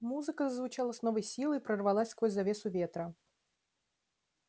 музыка зазвучала с новой силой прорвалась сквозь завесу ветра